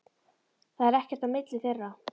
Það er ekkert á milli þeirra.